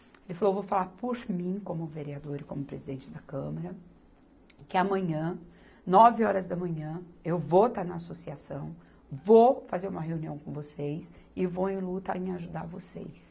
Ele falou, vou falar por mim, como vereador e como presidente da Câmara, que amanhã, nove horas da manhã, eu vou estar na associação, vou fazer uma reunião com vocês e vou em luta em ajudar vocês.